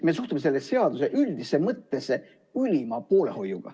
Me suhtume selle seaduse üldisesse mõttesse ülima poolehoiuga.